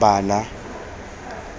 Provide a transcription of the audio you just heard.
bana